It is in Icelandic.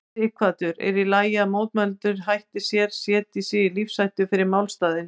Sighvatur: En er í lagi að mótmælendur hætti sér, setji sig í lífshættu fyrir málstaðinn?